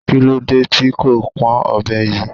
Kí ló dé tí kò pọn ọbẹ yìí?